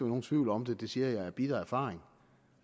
nogen tvivl om det det siger jeg af bitter erfaring